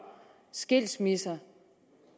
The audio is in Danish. skilsmisser